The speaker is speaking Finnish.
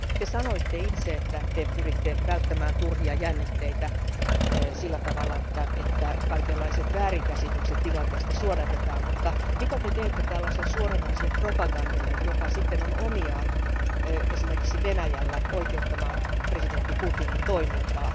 Te sanoitte itse, että te pyritte välttämään turhia jännitteitä sillä tavalla, että kaikenlaiset väärinkäsitykset tilanteesta suodatetaan, mutta mitä te teette tällaiselle suoranaiselle propagandalle, joka sitten on omiaan, esimerkiksi Venäjällä, oikeuttamaan presidentti Putinin toimintaa?